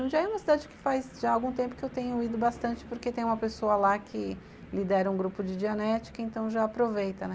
Jundiaí é uma cidade que faz já algum tempo que eu tenho ido bastante porque tem uma pessoa lá que lidera um grupo de dianética, então já aproveita, né?